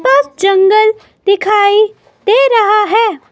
पास जंगल दिखाई दे रहा है।